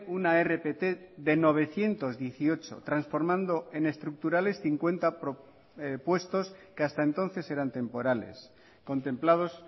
una rpt de novecientos dieciocho transformando en estructurales cincuenta puestos que hasta entonces eran temporales contemplados